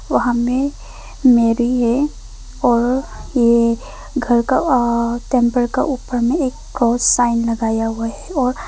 वहां में मेरी है और ये घर का आ टेंपल का ऊपर में एक क्रॉस साइन लगाया हुआ है और --